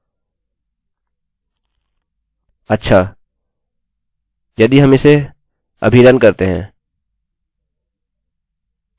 अच्छा यदि हम इसे अभी रन करते हैं हम देखेंगे कि कुछ नहीं हुआ